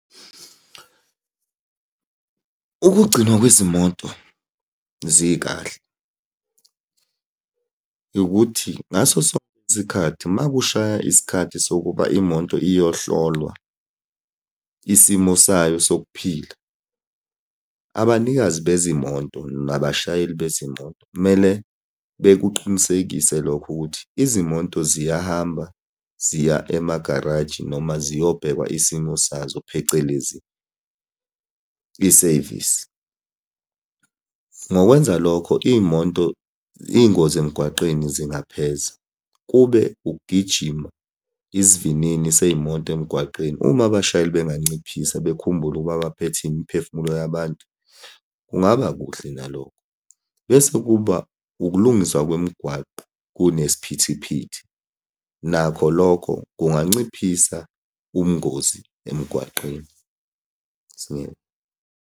Ukugcinwa kwezimoto zikahle ukuthi ngaso sonke isikhathi uma kushaya isikhathi sokuba imoto iyohlolwa isimo sayo sokuphila, abanikazi bezimoto nabashayeli bezimoto kumele bekuqinisekise lokho ukuthi izimoto ziyahamba ziya emagaraji noma ziyobhekwa isimo sazo, phecelezi isevisi. Ngokwenza lokho iy'moto, iy'ngozi emgwaqeni zingapheza. Kube ukugijima isivinini sey'moto emgwaqeni. Uma abashayeli benganciphisa bekhumbule ukuba baphethe imiphefumulo yabantu, kungaba kuhle nalokho. Bese kuba ukulungiswa kwemigwaqo kunesiphithiphithi, nakho lokho kunganciphisa ubungozi emgwaqeni .